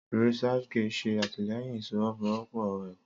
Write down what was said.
ResearchGate ṣẹ atilẹyìn ìfọwọsowopo ẹkọ.